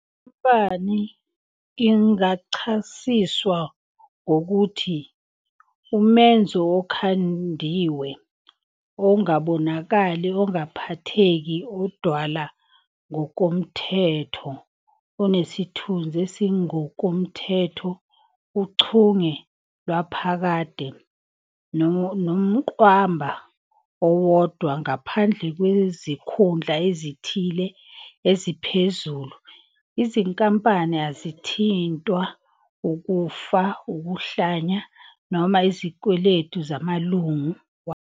Inkampani ingachasiswa ngokuthi "umenzo okhandiwe", ongabonakali, ongaphatheki, odalwa ngokomthetho, onesithunzi esingokomthetho, uchunge lwaphakade, nomqwamba owodwa. Ngaphandle kwezikhundla ezithile eziphezulu, izinkampani azithintwa ukufa, ukuhlanya, noma izikweletu zamalungu wazo.